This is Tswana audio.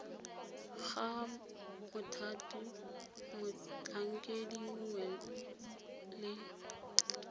ga mothati motlhankedi mongwe le